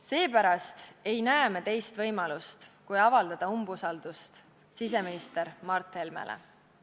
Seepärast ei näe me teist võimalust, kui avaldada siseminister Mart Helmele umbusaldust.